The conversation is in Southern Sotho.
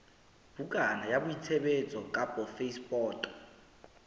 bukana ya boitsebiso kapa phasepoto